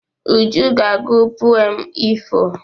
Uju ga-agụ pụem ifo.